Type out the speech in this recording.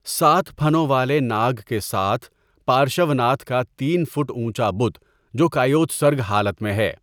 سات پھنوں والے ناگ کے ساتھ پارشوناتھ کا تین فٹ اونچا بت جو کایوتسرگ حالت میں ہے۔